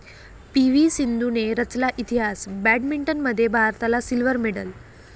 पी.व्ही.सिंधूने रचला इतिहास, बॅडमिंटनमध्ये भारताला सिल्व्हर मेडल